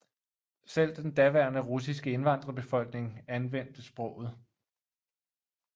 Selv den daværende russiske indvandrerbefolkning anvendte sproget